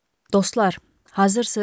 Dostlar, hazırsınız?